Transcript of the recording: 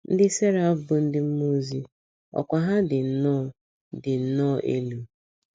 Ndị seraf bụ ndị mmụọ ozi ọkwá ha dị nnọọ dị nnọọ elu.